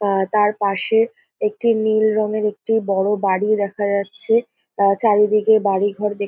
তার পাশে একটি নীল রং এর একটি একটি বাড়ি দেখা যাচ্ছে। চারিদিকে বাড়ি-ঘর দে --